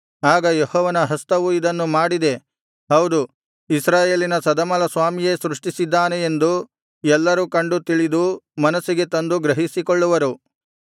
ಆಗ ಯೆಹೋವನ ಹಸ್ತವು ಇದನ್ನು ಮಾಡಿದೆ ಹೌದು ಇಸ್ರಾಯೇಲಿನ ಸದಮಲಸ್ವಾಮಿಯೇ ಸೃಷ್ಟಿಸಿದ್ದಾನೆ ಎಂದು ಎಲ್ಲರೂ ಕಂಡು ತಿಳಿದು ಮನಸ್ಸಿಗೆ ತಂದು ಗ್ರಹಿಸಿಕೊಳ್ಳುವರು